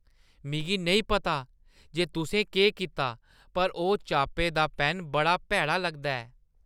मिगी नेईं पता जे तुसें केह् कीता, पर ओह् चाप्पे दा पैन्न बड़ा भैड़ा लगदा ऐ।